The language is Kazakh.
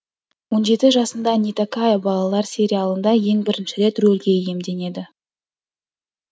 он жеті жасында нетакая балалар сериалында ең бірінші рет рөлге иемденеді